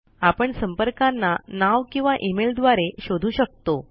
आपण संपर्कांना नाव किंवा इमेल द्वारे शोधू शकता